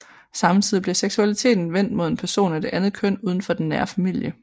Samtidig bliver seksualiteten vendt mod en person af det andet køn uden for den nære familie